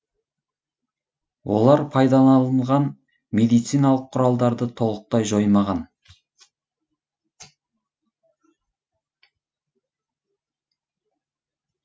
олар пайдаланылған медициналық құралдарды толықтай жоймаған